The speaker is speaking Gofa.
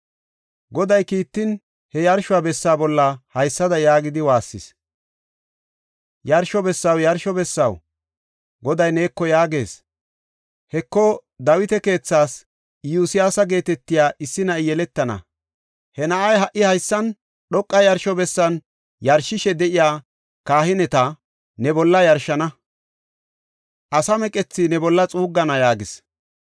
Goday kiittin he yarsho bessa bolla haysada yaagidi waassis; “Yarsho bessaw, yarsho bessaw, Goday neeko yaagees. Heko, Dawita keethaas Iyosyaasa geetetiya issi na7i yeletana. He na7ay ha77i haysan dhoqa yarsho bessan yarshishe de7iya kahineta ne bolla yarshana; asaa meqethaa ne bolla xuuggana” yaagis.